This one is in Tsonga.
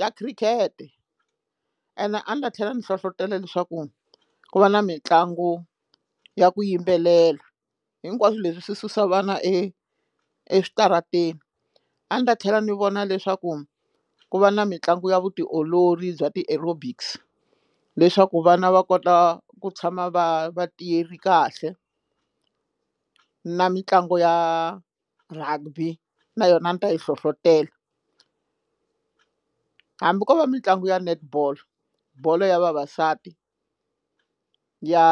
ya khirikete ene a ni ta tlhela ni hlohlotelo leswaku ku va na mitlangu ya ku yimbelela hinkwaswo leswi swi susa vana e eswitarateni a ni ta tlhela ni vona leswaku ku va na mitlangu ya vutiolori bya ti aerobics leswaku vana va kota ku tshama va vatiyele kahle na mitlangu ya rugby na yona a ni ta yi hlohletela hambi ko va mitlangu ya netball bolo ya vavasati ya